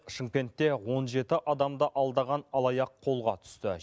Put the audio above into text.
шымкентте он жеті адамды алдаған алаяқ қолға түсті